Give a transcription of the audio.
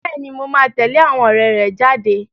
Bẹ́ẹ̀ni, mo máa tẹ̀lé àwọn ọ̀rẹ́ rẹ jáde.